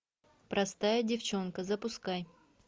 простая девчонка запускай